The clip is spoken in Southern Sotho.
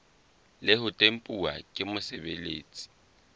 le ho tempuwa ke mosebeletsi